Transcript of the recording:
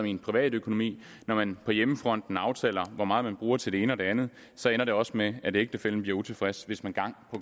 i privatøkonomien når man på hjemmefronten aftaler hvor meget man bruger til det ene og det andet ender det også med at ægtefællen bliver utilfreds hvis man gang